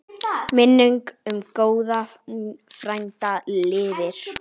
Minning um góðan frænda lifir.